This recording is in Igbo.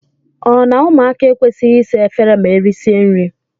O na - ụmụaka ekwesịghị ịsa efere ma erịsịa nrị?